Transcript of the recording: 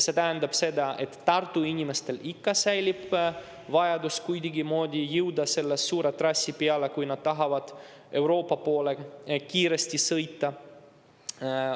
See tähendab seda, et Tartu inimestel ikka säilib vajadus kuidagimoodi jõuda selle suure trassi peale, kui nad tahavad kiiresti Euroopa poole sõita.